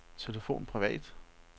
telefon privat